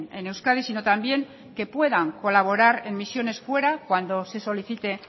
en euskadi sino también que puedan colaborar en misiones fuera cuando se solicite